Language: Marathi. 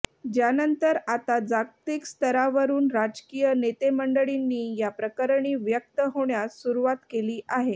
ज्यानंतर आता जागतिक स्तरावरुन राजकीय नेतेमंडळींनी या प्रकरणी व्यक्त होण्यास सुरुवात केली आहे